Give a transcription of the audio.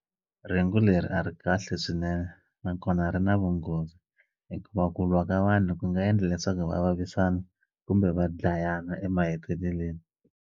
Rhengu leri a ri kahle swinene nakona ri na vunghozi hikuva ku lwa ka vanhu ku nga endla leswaku va vavisana kumbe va dlayana emaheteleleni.